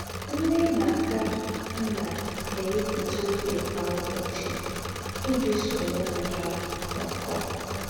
Nnè na - ákà nnà èwèpụ́tà ògé kwa ǔbọ̀chị iji sòrò ǔmū hà nọ̀kọọ̀.